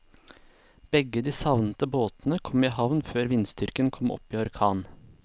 Begge de savnede båtene kom i havn før vindstyrken kom opp i orkan.